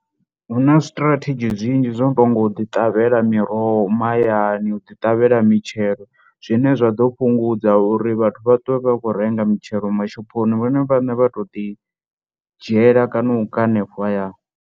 Hu na zwi strategy zwinzhi zwo no tou nga u ḓiṱavhela miroho mahayani u ḓiṱavhela mitshelo, zwine zwa ḓo fhungudza uri vhathu vha ṱwe vha khou renga mitshelo mashophoni, vhone vhaṋe vha to ḓidzhiela kana u ka hanefho hayani.